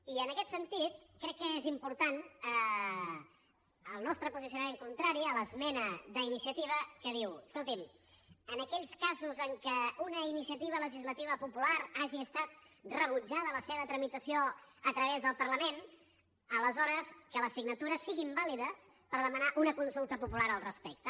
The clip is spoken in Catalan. i en aquest sentit crec que és important el nostre posicionament contrari a l’esmena d’iniciativa que diu escolti’m en aquells casos en què una iniciativa legislativa popular hagi estat rebutjada la seva tramitació a través del parlament aleshores que les signatures siguin vàlides per demanar una consulta popular al respecte